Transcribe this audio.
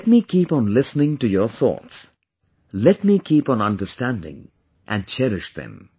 Let me keep on listening to your thoughts, let me keep on understanding and cherish them